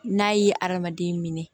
N'a ye adamaden